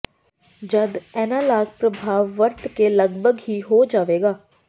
ਜਦ ਐਨਾਲਾਗ ਪ੍ਰਭਾਵ ਵਰਤ ਕੇ ਲਗਭਗ ਹੀ ਹੋ ਜਾਵੇਗਾ